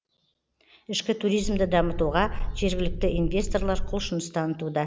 ішкі туризмді дамытуға жергілікті инвесторлар құлшыныс танытуда